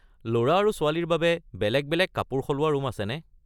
ল'ৰা আৰু ছোৱালীৰ বাবে বেলেগ বেলেগ কাপোৰ সলোৱা ৰুম আছেনে?